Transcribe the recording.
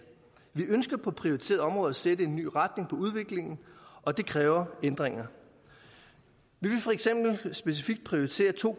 vi ønsker på prioriterede områder at sætte en ny retning for udviklingen og det kræver ændringer vi vil for eksempel specifikt prioritere to